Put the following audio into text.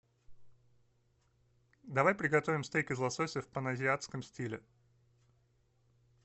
давай приготовим стейк из лосося в паназиатском стиле